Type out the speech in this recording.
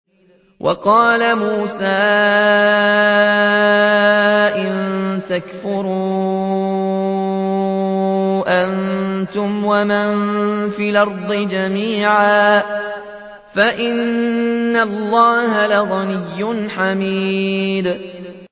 وَقَالَ مُوسَىٰ إِن تَكْفُرُوا أَنتُمْ وَمَن فِي الْأَرْضِ جَمِيعًا فَإِنَّ اللَّهَ لَغَنِيٌّ حَمِيدٌ